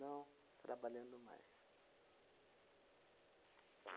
Não trabalhando mais.